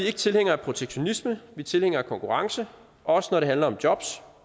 ikke tilhængere af protektionisme vi er tilhængere af konkurrence også når det handler om job